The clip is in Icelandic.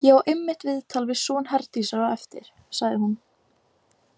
Ég á einmitt viðtal við son Herdísar á eftir, sagði hún.